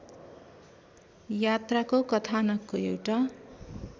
यात्राको कथानकको एउटा